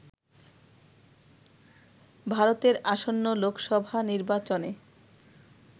ভারতের আসন্ন লোকসভা নির্বাচনে